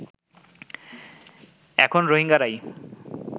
এখন রোহিঙ্গারাই